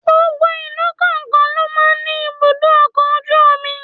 Gbogbo ìlú kọ̀ọ̀kan ló máa ń ní ibùdó ọkọ̀ ojú omi.